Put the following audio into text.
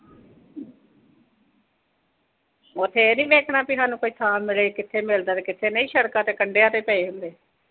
ਉਥੇ ਇਹ ਨੀਂ ਦੇਖਣਾ ਕਿ ਇਨ੍ਹਾਂ ਨੂੰ ਕੋਈ ਥਾਂ ਮਿਲੇ, ਵੀ ਕਿਥੇ ਮਿਲਦਾ ਤੇ ਕਿੱਥੇ ਨਈਂ, ਸੜਕਾਂ ਤੇ ਕੰਡਿਆਂ ਤੇ ਪਏ ਹੁੰਦੇ।